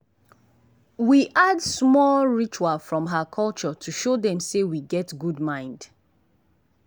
we add small ritual from her culture to show sey we get good mind.